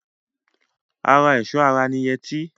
Ara ẹ̀ṣọ́ ara ni yẹtí.